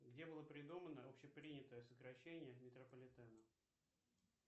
где было придумано общепринятое сокращение метрополитена